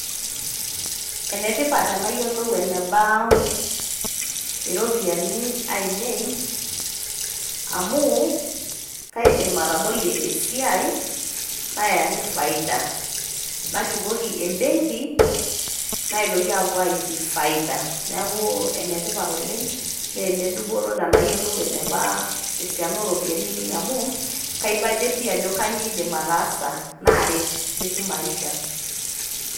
Enetipat teneyiolou eneba iropiyiani ainei, amu kaidim atabolie esiai nayaki faida. Nashukoki ebenki, naitoki apuo aiki faida. Neeku enetipat oleng',na enedupoto teneyiolou eneba esiana oropiyiani ainei amu, kaibajetie ajo kanyioo aidim ataasa, naret te kimaisha.